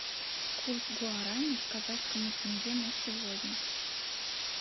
курс гуарани к казахскому тенге на сегодня